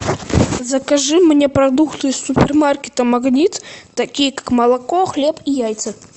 закажи мне продукты из супермаркета магнит такие как молоко хлеб и яйца